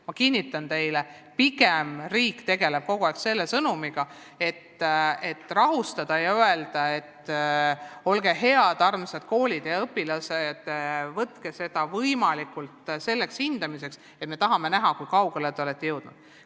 Ma kinnitan teile, pigem tegeleb riik kogu aeg sellega, et rahustada ja öelda: "Olge head, armsad koolid ja õpilased, suhtuge testimisse nii, et me lihtsalt tahame näha, kui kaugele te olete jõudnud.